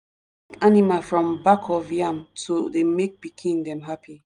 animal from back of yam to make pikin dem happy.